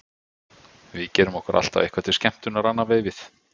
Við gerum okkur alltaf eitthvað til skemmtunar annað veifið.